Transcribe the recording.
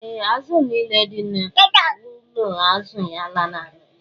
Ee, azụ̀ nile dị n’ụlọ azụ̀ ya lanarịrị.